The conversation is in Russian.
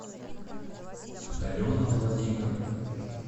алена владимировна